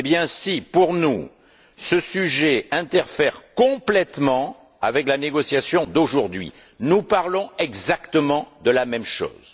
Si, pour nous, ce sujet interfère complètement avec la négociation d'aujourd'hui, nous parlons exactement de la même chose.